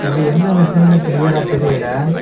இது என்ன மெஷின்னு கிளியரா தெரியல.